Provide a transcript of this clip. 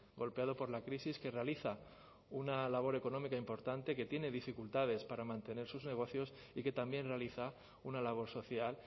golpeado por la crisis que realiza una labor económica importante que tiene dificultades para mantener sus negocios y que también realiza una labor social